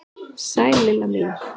Sæl Lilla mín!